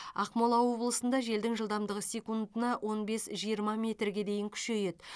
ақмола облысында желдің жылдамдығы секундына он бес жиырма метрге дейін күшейеді